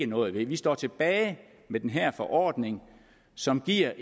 noget ved vi står tilbage med den her forordning som er